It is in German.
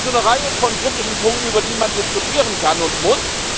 Also eine Reihe von kritischen Punkte, über die man diskutieren kann und muss.